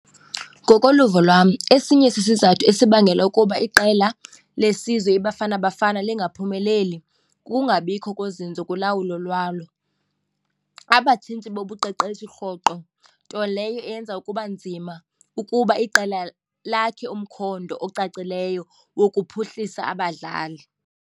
Ngokoluvo lwam esinye sisizathu esibangela ukuba iqela lesizwe iBafana Bafana lingaphumeleli kukungabikho kozinzo kulawulo lwalo, abatshintshi bobuqeqeshi rhoqo, nto leyo eyenza ukuba nzima ukuba iqela lakhe umkhondo ocacileyo wokuphuhlisa abadlali.